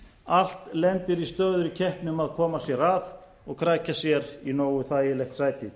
allt lendir í stöðugri keppni um að koma sér að og krækja sér í nógu þægilegt sæti